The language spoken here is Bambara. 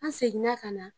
An seginna ka na